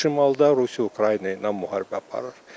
Şimalda Rusiya Ukrayna ilə müharibə aparır.